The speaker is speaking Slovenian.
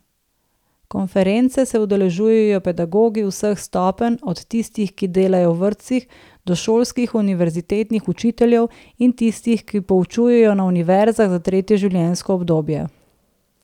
Konference se udeležujejo pedagogi vseh stopenj, od tistih, ki delajo v vrtcih do šolskih, univerzitetnih učiteljev in tistih, ki poučujejo na univerzah za tretje življenjsko obdobje.